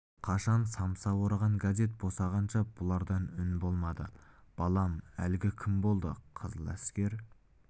қашан самса ораған газет босағанша бұларда үн болмады балам әлгі кім болды қызыл әскер